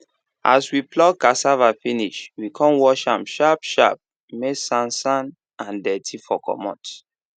as we pluck cassava finish we con wash am sharp sharp may sansan and dirty for comot